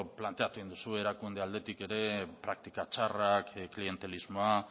planteatu egin duzu erakunde aldetik praktika txarrak klientelismoa